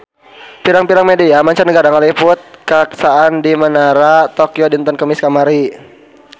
Pirang-pirang media mancanagara ngaliput kakhasan di Menara Tokyo dinten Kemis kamari